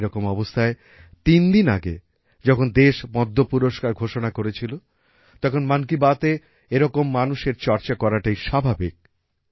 এরকম অবস্থায় তিন দিন আগে যখন দেশ পদ্ম পুরস্কার ঘোষণা করেছিল তখন মন কি বাতএ এরকম মানুষের চর্চা করাটাই স্বাভাবিক